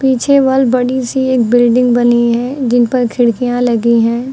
पीछे वल बड़ी सी एक बिल्डिंग बनी है जिन पर खिड़कियां लगी हैं।